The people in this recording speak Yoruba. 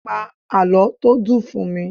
Pa àlọ́ tó dùn fún mi!